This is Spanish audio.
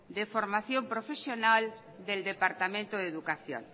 de formación profesional de departamento de educación